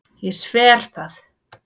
Ég sver það.